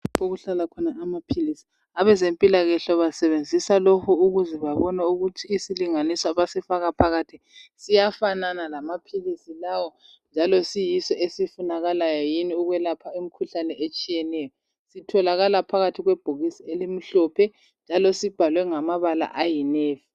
Okuhlala khona amaphilisi. Abezempilakahle basebenzisa lokhu ukuze babone ukuthi isilinganiso abasifaka phakathi siyafanana lamaphilisi lawo njalo siyiso esifunakalayo yini ukwelapha imikhuhlane etshiyeneyo. Sitholakala phakathi kwebhokisi elimhlophe njalo sibhalwe ngamabala ayi "navy".